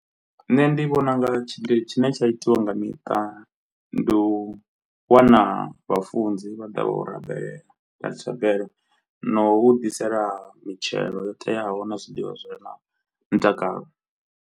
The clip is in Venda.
Nṋe ndi vhona unga tshi tshine tsha itiwa nga miṱa ndi u wana vhafunzi vha ḓa vha u rabelela nga thabelo, no u ḓisela mitshelo yo teaho na zwiḽiwa zwire na mutakalo.